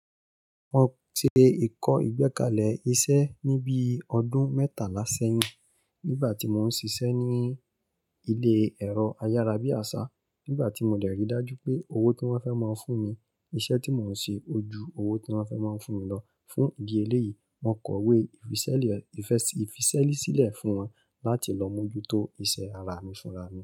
Mo ṣe ẹ̀kọ́ ìgbékalẹ̀ iṣẹ́ ní bí ọdún mẹ́tàlá ṣẹ́yìn nígbà tí mò ń ṣiṣẹ́ ní ilé ẹ̀rọ ayárabíàṣá. Nígbà tí mo dẹ̀ rii dájú pé owó tí wọ́n fẹ́ máa ń fún mi, iṣẹ́ tí mò ń ṣe ó ju owó tí wọ́n fẹ́ máa fún mi lọ fún ìdí eléyìí. Mo kọ̀wé ìfisẹ́sílẹ̀ fún wọn láti lọ mójútó iṣẹ́ ara mi fún ra mi.